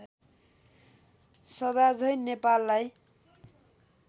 सदा झैं नेपाललाई